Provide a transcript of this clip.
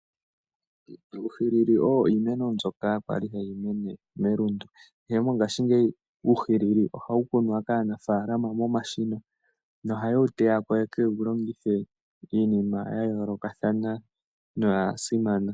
Uuhilili oyo iimeno mbyoka kwali hayi mene melundu, ashike mongashingeyi uuhilili ohawu kunwa kaanafalama momashina, no haye wu teyako, ye kewu longithe iinima ya yoolokathana noya simana.